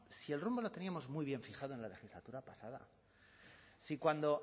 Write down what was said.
si el rumbo lo teníamos muy bien fijado en la legislatura pasada si cuando